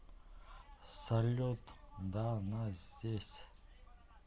салют да она здесь